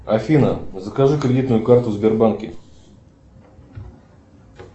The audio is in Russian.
афина закажи кредитную карту в сбербанке